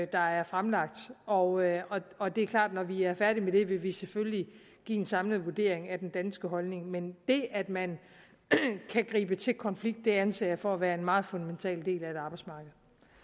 der er fremlagt og og det er klart at når vi er færdige med det vil vi selvfølgelig give en samlet vurdering med den danske holdning men det at man kan gribe til konflikt anser jeg for at være en meget fundamental del af et arbejdsmarked